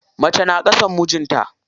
Mace na ƙasan mijinta.